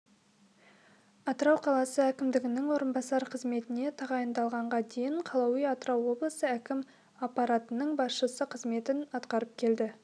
атырау қаласы әкімінің орынбасары қызметіне тағайындалғанға дейін калауи атырау облысы әкім аппаратының басшысы қызметін атқарып келді